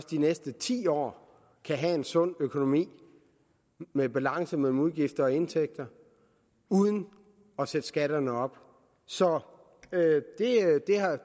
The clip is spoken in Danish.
de næste ti år kan have en sund økonomi med balance mellem udgifter og indtægter uden at sætte skatterne op så